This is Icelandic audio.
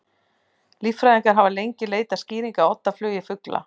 Líffræðingar hafa lengi leitað skýringa á oddaflugi fugla.